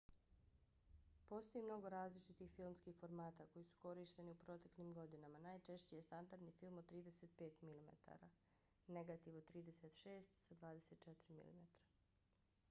postoji mnogo različitih filmskih formata koji su korišteni u proteklim godinama. najčešći je standardni film od 35 mm negativ od 36 sa 24 mm